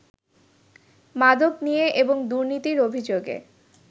মাদক নিয়ে এবং দুর্নীতির অভিযোগে